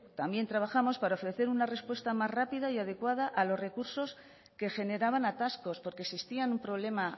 también trabajamos para ofrecer una respuesta más rápida y adecuada a los recursos que generaban atascos porque existían un problema